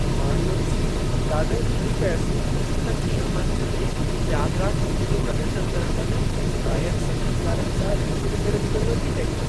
मां इहो ॾिसी ॾाढो ठरी पियसि त कीअं मंच ते त्यागराज कृति जो प्रदर्शन करण महिल गाइक संगीतकारनि सां रिली मिली करे जुॻलबंदी कई।